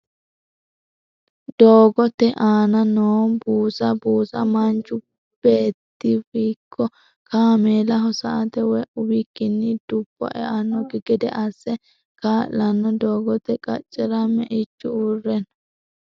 Doogotte aanna noo buusa, buusu manchu beettiravikko kaamellaho sa'ate woyi uwikkini dubo e'anokki gede asse kaa'lanno doogote qacjera me'ichu uure no